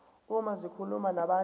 uma zikhuluma nabantu